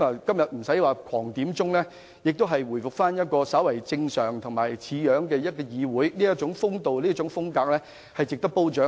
今天沒有議員不斷點算法定人數，議會回復較為正常的模樣，表現出的風度和風格值得褒獎。